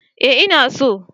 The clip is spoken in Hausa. Eh ina so